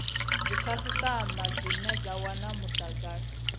dzikhasitama dzine dza wana mudagasi